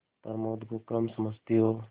प्रमोद को कम समझती हो